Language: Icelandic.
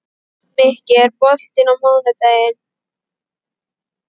Mikki, er bolti á mánudaginn?